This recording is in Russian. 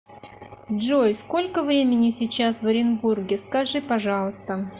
джой сколько времени сейчас в оренбурге скажи пожалуйста